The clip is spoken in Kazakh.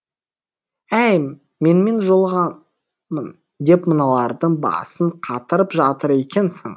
әй менімен жолығамын деп мыналардың басын қатырып жатыр екенсің